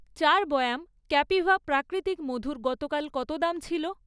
চার বয়াম ক্যাপিভা প্রাকৃতিক মধুর গতকাল কত দাম ছিল?